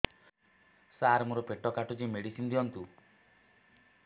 ସାର ମୋର ପେଟ କାଟୁଚି ମେଡିସିନ ଦିଆଉନ୍ତୁ